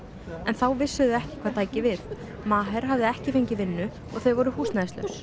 en þá vissu þau ekki hvað tæki við hafði ekki fengið vinnu og þau voru húsnæðislaus